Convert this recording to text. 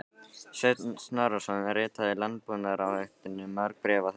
Sveinn Snorrason ritaði Landbúnaðarráðuneytinu mörg bréf á þessum árum.